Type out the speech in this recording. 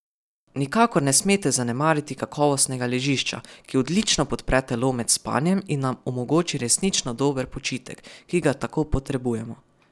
Nikakor ne smete zanemariti kakovostnega ležišča, ki odlično podpre telo med spanjem in nam omogoči resnično dober počitek, ki ga tako potrebujemo.